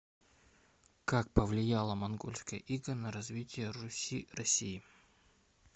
как повлияло монгольское иго на развитие руси россии